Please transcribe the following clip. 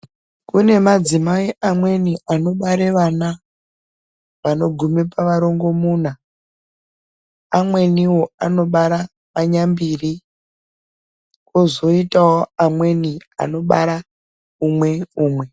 Kune madzimai amweni anobara vana vanogume pavarongomuna, amweniwo anobara manyambiri kozoitawo amweni anobara umwe umwe.